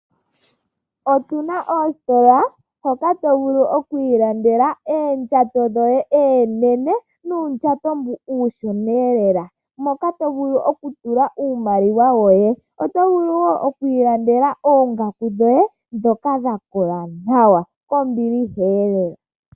Otuna oositola hoka to vulu okwii landela oondjato dhoye oonene, noondjato dhoye ooshona lela moka to vulu oku tula iimaliwa yoye, oto vulu woo okwii landela oongaku dhoye dhoka dha kola nawa kombiliha lela